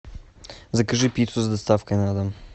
закажи пиццу с доставкой на дом